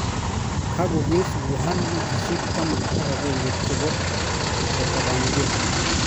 kagogees Wuhan wigisiek taman ak agenge chepo ketabankee